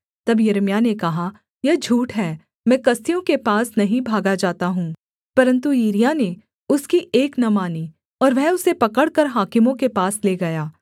तब यिर्मयाह ने कहा यह झूठ है मैं कसदियों के पास नहीं भागा जाता हूँ परन्तु यिरिय्याह ने उसकी एक न मानी और वह उसे पकड़कर हाकिमों के पास ले गया